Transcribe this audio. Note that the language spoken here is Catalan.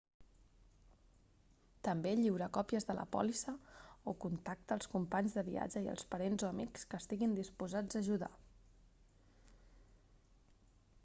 també lliura còpies de la pòlissa / contacte als companys de viatge i als parents o amics que estiguin disposats a ajudar